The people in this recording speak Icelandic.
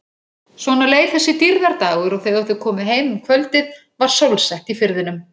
Svona leið þessi dýrðardagur og þegar þau komu heim um kvöldið var sólsett í firðinum.